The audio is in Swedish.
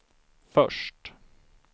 först